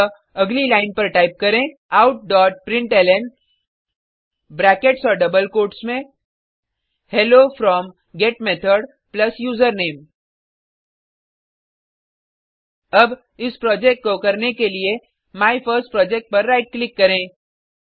अतः अगली लाइन पर टाइप करें आउट डॉट प्रिंटलन ब्रैकेट्स और डबल कोट्स में hello from get method plus username अब इस प्रोजेक्ट को करने के लिए माइफर्स्टप्रोजेक्ट पर राइट क्लिक करें